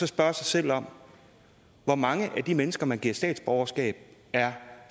spørge sig selv om hvor mange af de mennesker man giver statsborgerskab er